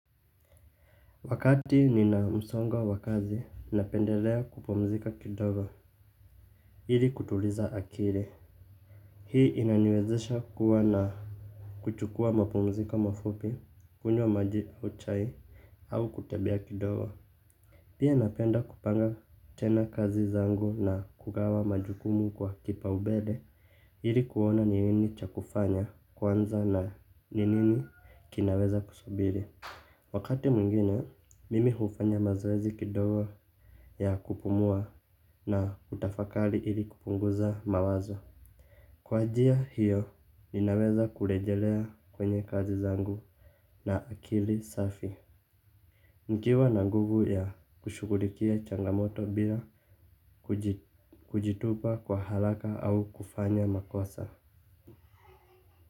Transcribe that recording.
Wakati nina msongo wa kazi, ninapendelea kupumzika kidogo, ili kutuliza akili. Hii inaniwezesha kuwa na kuchukua mapumziko mafupi, kunywa maji au chai, au kutembea kidogo. Pia napenda kupanga tena kazi zangu na kugawa majukumu kwa kipaumbele, ili kuona ni nini cha kufanya, kwanza na ni nini kinaweza kusubiri. Wakati mwingine, mimi hufanya mazoezi kidogo ya kupumua na kutafakari ili kupunguza mawazo. Kwa njia hiyo, ninaweza kurejelea kwenye kazi zangu na akili safi. Nikiwa na nguvu ya kushughulikia changamoto bila kujitupa kwa haraka au kufanya makosa.